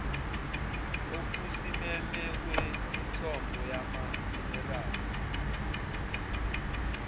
okusimeme kwemithombo yamaminerali